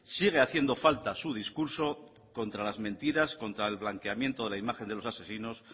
sigue haciendo falta su discurso contra las mentiras contra el blanqueamiento de la imagen de los asesinos